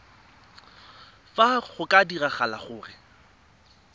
fa go ka diragala gore